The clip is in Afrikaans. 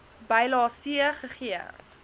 bylae c gegee